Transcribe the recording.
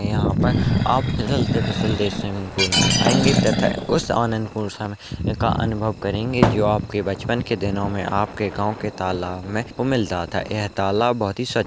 यहाँ पे आप फिसलते फिसलते इस स्विमिंग पूल में आयेंगे तथा उस आनंद को उठाने का अनुभव करेंगे जो आपके बचपन के दिनों में आपके गाँव के तालाब में मिलता था यह तालाब बहुत ही स्वच् --